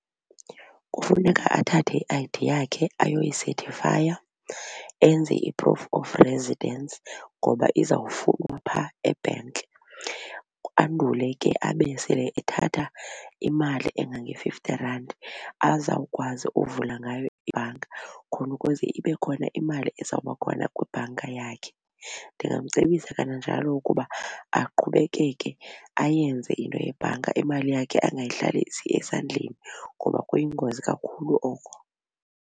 Kufuneka athathe i-I_D yakhe ayoyisethifaya enze i-proof of residence ngoba izawufunwa phaa ebhenki. Andule ke abe sele ethatha imali engange-fifty randi azawukwazi uvula ngayo ibhanka khona ukuze ibe khona imali ezawuba khona kwibhanka yakhe. Ndingamcebisa kananjalo ukuba aqhubekeke, ayenze into yebhanka imali yakhe angayihlalisi esandleni ngoba kuyingozi kakhulu oko.